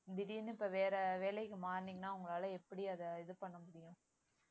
திடீர்னு இப்ப வேற வேலைக்கு மாறுனீங்கன்னா உங்களால எப்படி அதை இது பண்ண முடியும்